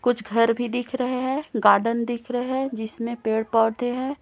कुछ घर भी दिख रहे हैं गार्डन दिख रहे हैं जिसमें पेड़ पौधे हैं।